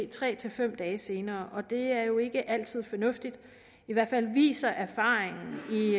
tre fem dage senere og det er jo ikke altid fornuftigt i hvert fald viser erfaringen